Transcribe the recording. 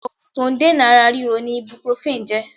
Ògùn to n dènà ara ríro ni 'ibuprofen' jé